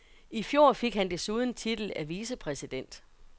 I fjor fik han desuden titel af vicepræsident.